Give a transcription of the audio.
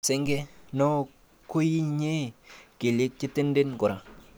Senge, noo koyinye kelyek chetenden kora.